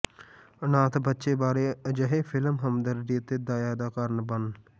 ਅਨਾਥ ਬੱਚੇ ਬਾਰੇ ਅਜਿਹੇ ਫਿਲਮ ਹਮਦਰਦੀ ਅਤੇ ਦਇਆ ਦਾ ਕਾਰਨ ਬਣ